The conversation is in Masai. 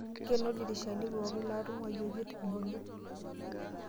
Nkeno ilidirishana pookin laatung'wayioki ebolo.